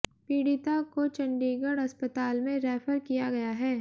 पीडि़ता को चंडीगढ़ अस्पताल में रैफर किया गया है